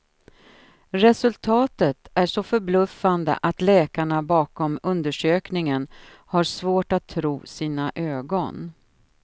Resultatet är så förbluffande att läkarna bakom undersökningen har svårt att tro sina ögon.